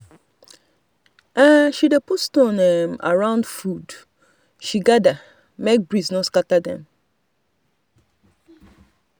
she dey put stone um around food she gather make breeze no scatter everything.